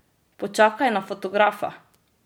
Počakaj na fotografa!